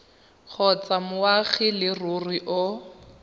kgotsa moagi wa leruri o